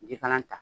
Jikalan ta